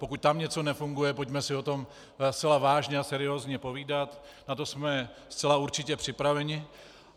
Pokud tam něco nefunguje, pojďme si o tom zcela vážně a seriózně povídat, na to jsme zcela určitě připraveni.